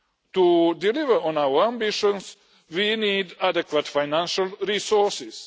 To deliver on our ambitions we need adequate financial resources.